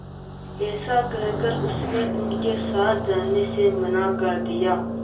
ऐसा कहकर उसने उनके साथ जाने से मना कर दिया